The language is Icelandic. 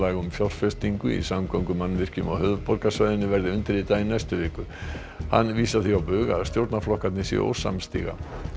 um fjárfestingu í samgöngumannvirkjum á höfuðborgarsvæðinu verði undirritað í næstu viku hann vísar því á bug að stjórnarflokkarnir séu ósamstíga